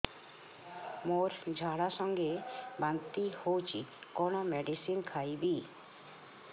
ମୋର ଝାଡା ସଂଗେ ବାନ୍ତି ହଉଚି କଣ ମେଡିସିନ ଖାଇବି